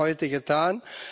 das haben Sie heute getan.